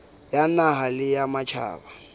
ya naha le ya matjhaba